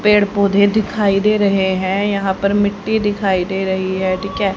पेड़ पौधे दिखाई दे रहे हैं यहां पर मीठ्ठी दिखाई दे रही है ठीक है।